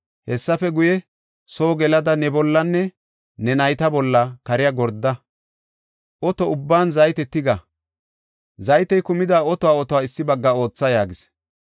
Hessafe guye, soo gelada, ne bollanne ne nayta bolla kariya gorda. Oto ubban zayte tiga; zaytey kumida otota issi bagga aatha” yaagis.